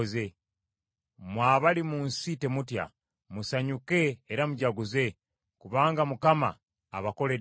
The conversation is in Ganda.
Mwe abali mu nsi, temutya. Musanyuke era mujaguze; kubanga Mukama abakoledde ebikulu.